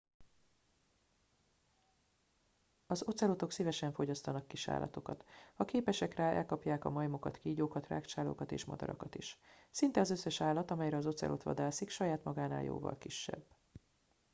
az ocelotok szívesen fogyasztanak kisállatokat ha képesek rá elkapják a majmokat kígyókat rágcsálókat és madarakat is szinte az összes állat amelyre az ocelot vadászik saját magánál jóval kisebb